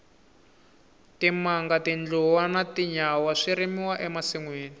timanga tindluwa na tinyawa swi rimiwa e masinwini